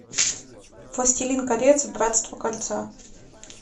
властелин колец братство кольца